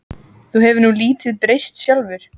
Þú hefur nú lítið breyst sjálfur.